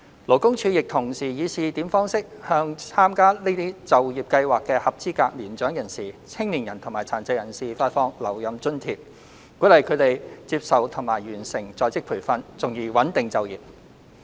勞工處亦同時以試點方式，向參加這些就業計劃的合資格年長人士、青年人及殘疾人士發放留任津貼，鼓勵他們接受及完成在職培訓，從而穩定就業。